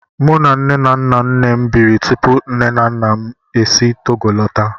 Mụ na nne na nna nnem biri tupu nne na nna m e si Togo lọta.